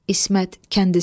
İsmət kəndisi.